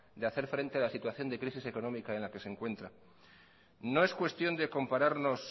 de hacer frente a la situación de crisis económica en la que se encuentra no es cuestión de compararnos